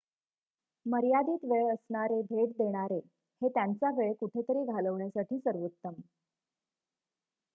मर्यादित वेळ असणारे भेट देणारे हे त्यांचा वेळ कुठेतरी घालवण्यासाठी सर्वोत्तम